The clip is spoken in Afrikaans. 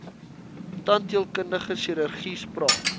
tandheelkundige chirurgie spraak